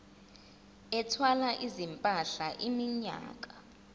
ethwala izimpahla iminyaka